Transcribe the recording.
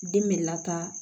Den bɛ lataa